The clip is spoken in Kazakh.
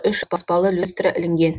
үш аспалы люстра ілінген